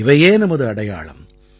இவையே நமது அடையாளம்